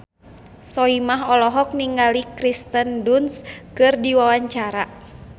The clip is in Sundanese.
Soimah olohok ningali Kirsten Dunst keur diwawancara